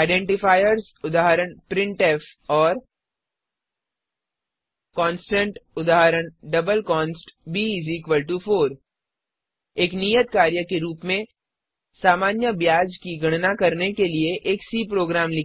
identifiers उदाहरण printf और constant उदाहरण डबल कॉन्स्ट b4 एक नियत कार्य के रूप में सामान्य ब्याज की गणना करने के लिए एक सी प्रोग्राम लिखें